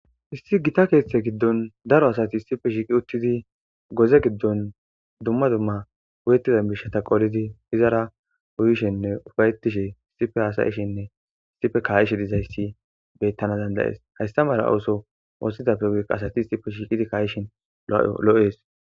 issi gita keeththe giddon daro asati isife shiiqi uttidi goze giddon dumma dumma uyetizan bishata qolidi izara uyishenne ufayetishe isife haasayishinne issife kaayishe dizayssi beyttana dandayees haystamala ooso woossidapfe wuka asati isife shiiqidi kaayishin lo7ees